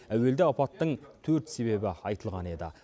әуелде апаттың төрт себебі айтылған еді